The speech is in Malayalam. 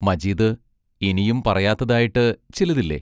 മജീദ് ഇനിയും പറയാത്തതായിട്ട് ചിലതില്ലേ?